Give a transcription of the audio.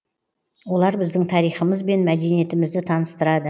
олар біздің тарихымыз бен мәдениетімізді таныстырады